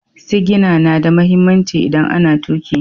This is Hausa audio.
Sigina na da mahimmanci idan ana tuƙi.